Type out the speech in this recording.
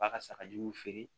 B'a ka sagajuguw feere